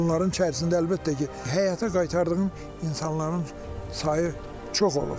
Onların içərisində əlbəttə ki, həyata qaytardığım insanların sayı çox olub.